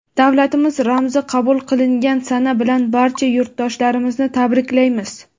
Davlatimiz ramzi qabul qilingan sana bilan barcha yurtdoshlarimizni tabriklaymiz!.